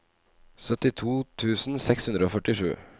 syttito tusen seks hundre og førtisju